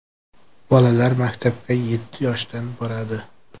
Bolalar maktabga yetti yoshdan boradi.